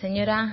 señora